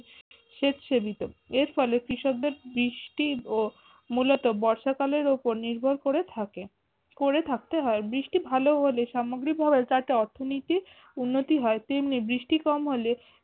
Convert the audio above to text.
সেচ এর ফলে কৃষকদের বৃষ্টি ও মূলত বর্ষাকালের উপর নির্ভর করে থাকে করে থাকতে হয় বৃষ্টি ভালো হলে সামগ্রিক ভাবে যাতে অর্থনীতির উন্নতি হয় তেমনি বৃষ্টি কম হলে